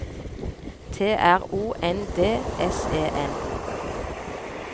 T R O N D S E N